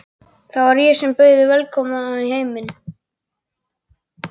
Það var ég sem bauð þig velkomna í heiminn.